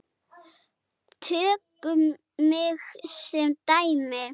Tökum mig sem dæmi.